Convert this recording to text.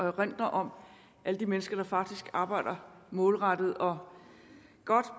erindrer om alle de mennesker der faktisk arbejder målrettet og godt